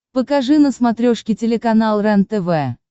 покажи на смотрешке телеканал рентв